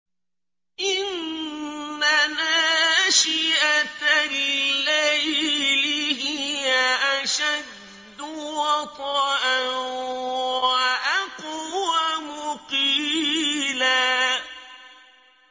إِنَّ نَاشِئَةَ اللَّيْلِ هِيَ أَشَدُّ وَطْئًا وَأَقْوَمُ قِيلًا